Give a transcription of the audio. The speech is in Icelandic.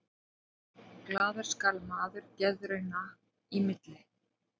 Glaður skal maður geðrauna í milli.